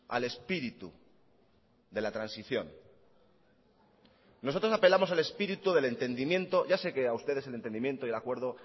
al espíritu de la transición nosotros apelamos al espíritu del entendimiento ya sé que a ustedes el entendimiento y el acuerdo